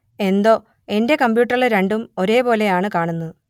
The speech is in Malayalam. എന്തോ എന്റെ കമ്പ്യൂട്ടറിൽ രണ്ടും ഒരേ പോലെ ആണ് കാണുന്നത്